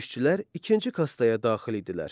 Döyüşçülər ikinci kastaya daxil idilər.